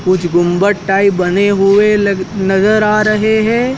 कुछ गुम्बद टाइप बने हुए लग नजर आ रहे हैं।